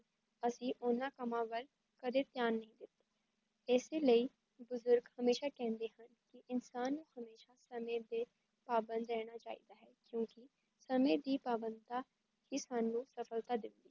ਅਸੀ ਓਨਾਂ ਸਮਾਂ ਵਿੱਚ ਕਦੇ ਧਿਆਨ ਨਹੀਂ ਕੀਤਾ ਇਸ ਲਈ ਬੂਜ਼ੂਰਗ ਹਮੇਸ਼ਾ ਕੈਨਦੇ ਕੀ ਇਨਸਾਨ ਨੂ ਸਮੇ ਦੇ ਪਾਬੰਦ ਰੈਣਾ ਚਾਹੀਦਾ, ਕਿਉਂਕੀ ਸਮੇ ਦੀ ਪਾਬੰਦਤਾਂ ਹੀ ਸਾਨੂੰ ਸਫ਼ਲਤਾ ਦੇਂਦੇ